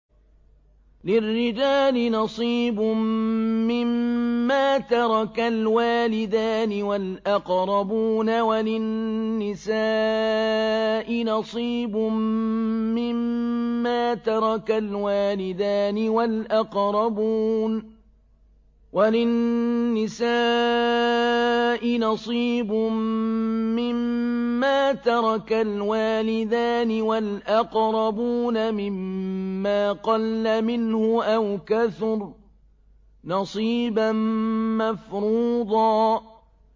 لِّلرِّجَالِ نَصِيبٌ مِّمَّا تَرَكَ الْوَالِدَانِ وَالْأَقْرَبُونَ وَلِلنِّسَاءِ نَصِيبٌ مِّمَّا تَرَكَ الْوَالِدَانِ وَالْأَقْرَبُونَ مِمَّا قَلَّ مِنْهُ أَوْ كَثُرَ ۚ نَصِيبًا مَّفْرُوضًا